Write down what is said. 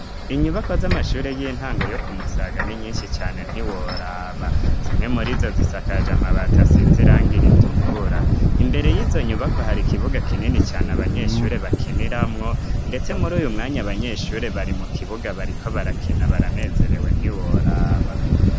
Inyubako z'amashure y'intango yo ku musagani nyinshi cane ntiworaba zimwe muri zo zisakaje amabata asizirango iritukura imbere y'izo nyubako hari ikibuga kineni cane abanyeshure bakiniramwo, ndetse muri uyu mwanya banyeshure bari mu kibuga bariko barakina baranezerewe ntiworaba.